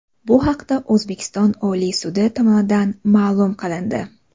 Bu haqda O‘zbekiston Oliy sudi tomonidan ma’lum qilindi .